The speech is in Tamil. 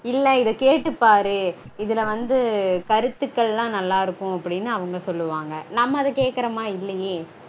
இல்ல இத கேட்டுப்பாரு இதுல வந்து கருத்துக்கள்லாம் நல்லா இருக்கும் அப்டீனு அவங்க சொல்வாங்க. நம்ம அத கேக்கறோமா? இல்லையே